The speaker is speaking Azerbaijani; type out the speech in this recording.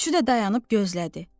Üçü də dayanıb gözlədi.